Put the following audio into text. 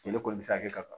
Ale kɔni bɛ se hakɛ ka